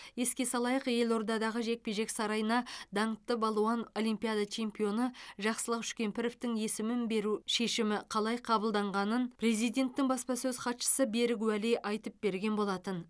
еске салайық елордадағы жекпе жек сарайына даңқты балуан олимпиада чемпионы жақсылық үшкемпіровтің есімін беру шешімі қалай қабылданғанын президенттің баспасөз хатшысы берік уәли айтып берген болатын